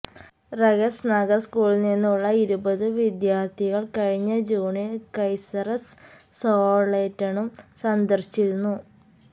ൈ്രകസ്ററ് നഗര് സ്കൂളില്നിന്നുള്ള ഇരുപതു വിദ്യാര്ഥികള് കഴിഞ്ഞ ജൂണില് കൈസര്സ്ളോറ്റേണും സന്ദര്ശിച്ചിരുന്നു